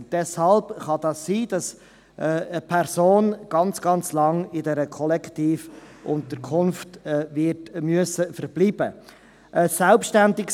Deshalb ist es möglich, dass eine Person sehr, sehr lange in dieser Kollektivunterkunft verbleiben muss.